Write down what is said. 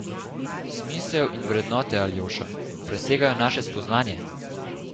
Smisel in vrednote, Aljoša, presegajo naše spoznanje.